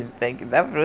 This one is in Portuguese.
Ele tem que dar